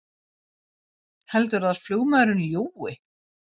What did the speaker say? Heldurðu að flugmaðurinn ljúgi!